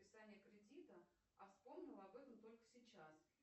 списание кредита а вспомнила об этом только сейчас